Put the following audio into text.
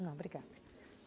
Não, obrigada.